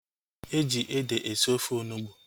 Eji ede esi ofe onugbu